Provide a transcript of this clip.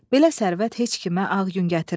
Belə sərvət heç kimə ağ gün gətirməz.